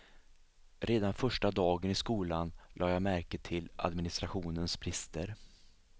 Redan första dagen i skolan la jag märke till administrationens brister.